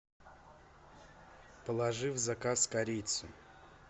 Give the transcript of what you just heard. положи в заказ корицу